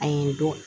A ye don